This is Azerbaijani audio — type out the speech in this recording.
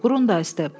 Qrundays da.